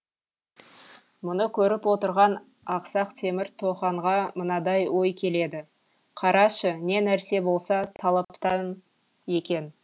мұны көріп отырған ақсақ темір тоханға мынадай ой келеді қарашы не нәрсе болса талаптан екен